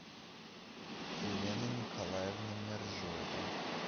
елена николаевна мержоева